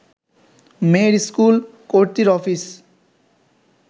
মেয়ের স্কুল, কর্ত্রীর অফিস